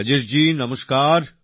রাজেশ জি নমস্কার